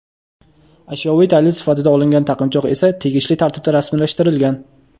Ashyoviy dalil sifatida olingan taqinchoq esa tegishli tartibda rasmiylashtirilgan.